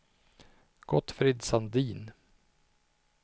Gottfrid Sandin